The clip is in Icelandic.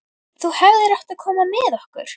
Þú hefðir átt að koma með okkur!